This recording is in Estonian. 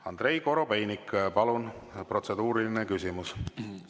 Andrei Korobeinik, palun, protseduuriline küsimus!